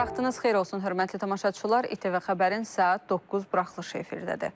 Hər vaxtınız xeyir olsun, hörmətli tamaşaçılar, İTV Xəbərin saat 9 buraxılışı efirdədir.